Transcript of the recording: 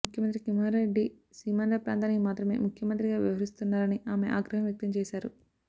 ముఖ్యమంత్రి కిరణ్ కుమార్ రెడ్ది సీమాంధ్ర ప్రాంతానికి మాత్రమే ముఖ్యమంత్రిగా వ్యవహరిస్తున్నారని ఆమె ఆగ్రహం వ్యక్తం చేశారు